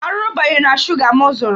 Arụrụ banyere na shuga m zụrụ.